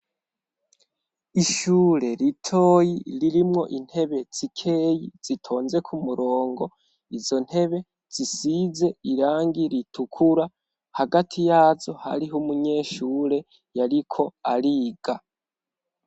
ishure ritoyi ririmwo intebe tsikeyi zitonze kumurongo izo ntebe zisize irangi ritukura hagati yazo hariho umunyeshure yariko ariga